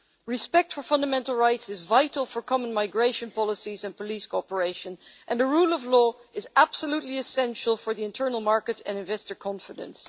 Respect for fundamental rights is vital for common migration policies and police cooperation, and the rule of law is absolutely essential for the internal market and investor confidence.